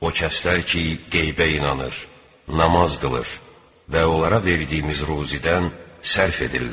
O kəslər ki, qeybə inanır, namaz qılır və onlara verdiyimiz ruzidən sərf edirlər.